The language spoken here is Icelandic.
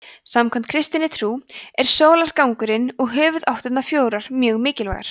samkvæmt kristinni trú er sólargangurinn og höfuðáttirnar fjórar mjög mikilvægar